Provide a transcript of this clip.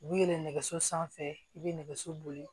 U bi yɛlɛn nɛgɛso sanfɛ i be nɛgɛso boli